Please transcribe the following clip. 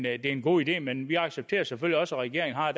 er en god idé men vi accepterer selvfølgelig også at regeringen har